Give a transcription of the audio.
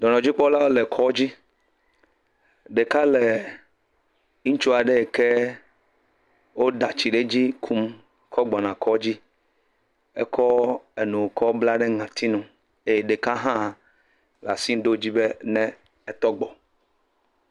Dɔnɔdzikpɔlawo le kɔ dzi. Ɖeka le ŋutsua ɖe yike woda tsi ɖe dzi kum kɔ gbɔna va kpa dzi ekɔ enu kɔ bla ŋɔti nu eye eye ɖeka hã le asi ɖo dzi be ne ne tɔgbɔ.